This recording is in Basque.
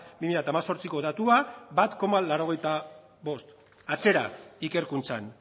bi mila hemezortziko datua bat koma laurogeita bost atzera ikerkuntzan